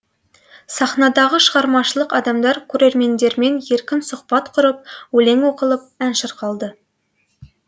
сахнадағы шығармашылық адамдар көрермендермен еркін сұхбат құрып өлең оқылып ән шырқалды